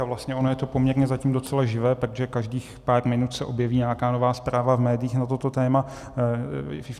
A vlastně ono je to poměrně zatím docela živé, protože každých pár minut se objeví nějaká nová zpráva v médiích na toto téma.